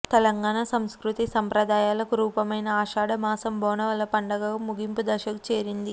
తెలంగాణ సంస్కృతి సంప్రదాయాలకు రూపమైన ఆషాఢ మాసం బోనాల పండుగ ముగింపు దశకు చేరింది